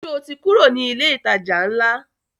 Sọ ti kúrò ní ilé ìtajà ńlá?